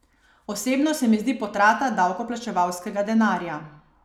Osebno se mi zdi potrata davkoplačevalskega denarja.